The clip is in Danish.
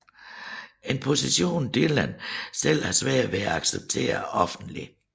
En position Dylan selv havde svært ved at acceptere offentligt